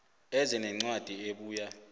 eze nencwadi ebuya